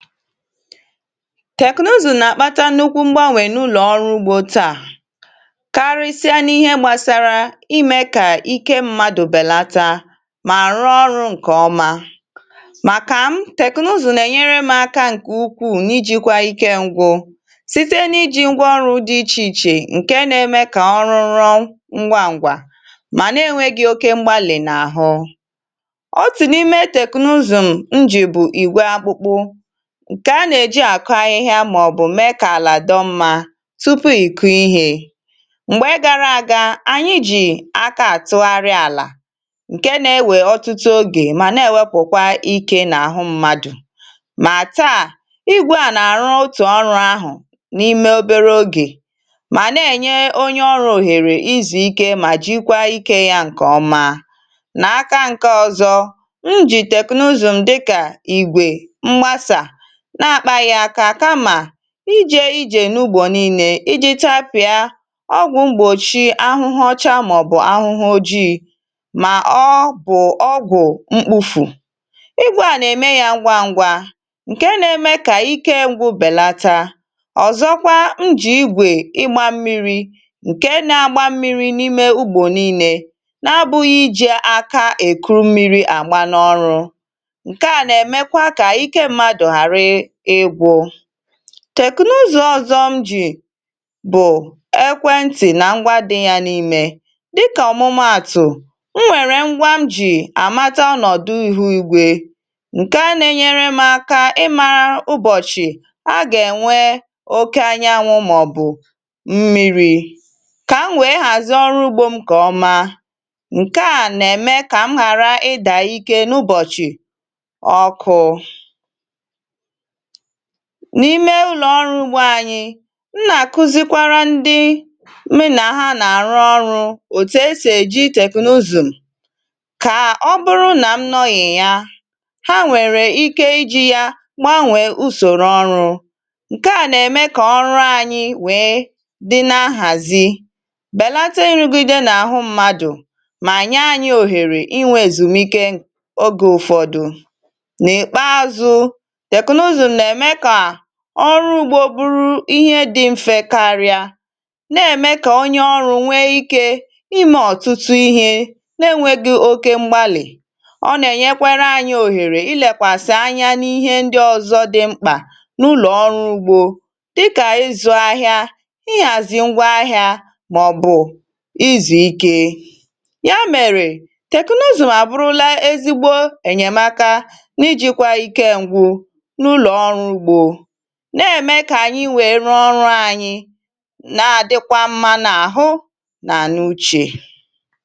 tèknụzụ̀ nà-àkpata nnukwu m̀gbànwè n’ụlọ̀ ọrụ ugbȯ taà karịsịa n’ihe gbàsara imė kà ike mmadụ̇ bèlata mà rụọ ọrụ ǹkè ọma màkà m tèknụzụ̀ nà-ènyere m aka ǹkè ukwuù n’ijikwȧ ike ǹgwụ site n’ijì ngwa ọrụ̇ dị ichè ichè ǹke nȧ-ėmė kà ọrụ rụọ ngwa ngwà mà na-enwė gị̇ oke m̀gbalị nà àhụ otù n’ime teknụzụ̀ m ǹjì bụ̀ ìgwe akpụkpụ̇ ǹkè a nà-èji àkụ ahịhịa màọ̀bụ̀ mee kà àlà dọ mmȧ tupu ị̀kụ ihė. m̀gbè gara àga ànyị jì aka àtụgharị àlà ǹke na-ewè ọtụtụ ogè mà na-ewepụ̀kwa ike n’àhụ mmadụ̀ mà taa igwe à nà-àrụ otù ọrụ ahụ̀ n’ime obere ogè mà na-ènye onye ọrụ̇ òhèrè ịzù ike mà jikwa ike yȧ ǹkè ọma nà aka ǹke ọzọ̇ m jì teknụzụ̀ dịkà igwè mgbasà na-akpà yà akà kamà ijè ijè n’ugbò niilė iji̇ tapịà ọgwụ̀ mgbòchị ahụhụ ọchà mà bụ̀ ahụhụ ojịì mà ọọ̇ bụ̀ ọgwụ̀ mkpufù ịgwụ̇ à nà-ème yȧ ngwȧ ngwȧ ǹke na-eme kà ike ngwụ bèlata ọ̀zọkwa m jì igwè ịgbȧ mmiri̇ ǹke na-agba mmiri̇ n’ime ugbò niilė na-abụghị̇ ijè aka èkuru mmiri̇ àgba n’ọrụ̇ nkea na-emekwa ka ike mmadụ ghara ịgwụ tèknụzọ̇ ọ̀zọ m jì bụ̀ ekwentị nà ngwa dị̇ yȧ n’imė dịkà ọ̀mụmaàtụ̀ m nwèrè ngwa m jì àmata ọnọ̀dụ ìhùigwė ǹke nȧ-enyere m aka ịmara ụbọ̀chị̀ a gà-ènwe oke anya anwụ̇ màọ̀bụ̀ mmịrị̇ kà m wèe hàzie ọrụ ugbȯ m kà ọma ǹke à nà-ème kà m ghàra ịdà ike n’ụbọ̀chị̀ ọkụ n’ime ụlọ̀ọrụ ugbȯ anyị̇ m nà-àkụzikwara ndị mụ nà ha nà-àrụ ọrụ̇ òtù esì èji teknụzụ̀ kà ọ bụrụ nà m nọghị̀ ya ha nwèrè ike iji̇ yȧ gbanwèe usòrò ọrụ̇ ǹke à nà-ème kà ọrụ ȧnyị̇ wèe dị na-nhàzi bèlata nrụgide n’àhụ mmadụ̀ mà nye anyị òhèrè ịnwe èzùmike ogè ụ̀fọdụ nà ị kpaa zụ teknụzụ na-eme ka ọrụ ugbȯ bụrụ ihe dị mfė karịa na-ème kà onye ọrụ nwee ikė ịme ọtụtụ ihe na-enwėghị oke m̀gbalị ọ na-enyekwara anyȧ òhèrè ịlekwasị̀ anya n’ihe ndị ọzọ dị̇ mkpà n’ụlọ̀ ọrụ ugbȯ dịkà ịzụ̇ ahịa ịhàzì ngwa ahịa màọ̀bụ̀ izù ike ya mere teknụzụ abụrụla ezigbo enyemaka ijikwa ike ngwụ n’ụlọ ọrụ ugbo na-eme kà ànyị wèe rụọ ọrụ̇ ànyị nà-àdịkwa mmȧ nà àhụ nà n’uchè